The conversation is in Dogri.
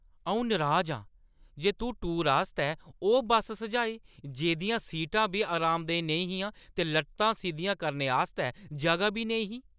अʼऊं नराज आं जे तूं टूरै आस्तै ओह् बस सुझाई जेह्दियां सीटां बी अरामदेह् नेईं हियां ते लत्तां सिद्धियां करने आस्तै जʼगा बी नेईं ही।